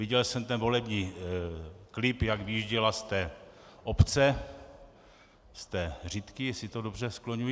Viděl jsem ten volební klip, jak vyjížděla z té obce, z té Řitky, jestli to dobře skloňuji.